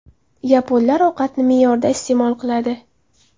Yaponlar ovqatni me’yorida iste’mol qiladi.